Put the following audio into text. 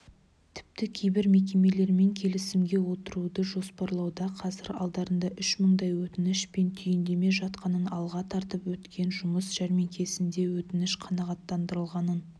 тіпті кейбір мекемелермен келісімге отыруды жоспарлауда қазір алдарында үш мыңдай өтініш пен түйіндеме жатқанын алға тартып өткен жұмыс жәрмеңкесінде өтініш қанағаттандырылғанын